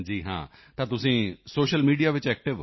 ਹਾਂ ਤਾਂ ਤੁਸੀਂ ਸੋਸ਼ਲ ਮੀਡੀਆ ਵਿੱਚ ਐਕਟਿਵ ਹੋ